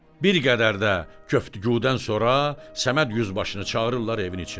Bir qədər də köftəqudan sonra Səməd yüzbaşını çağırırlar evin içinə.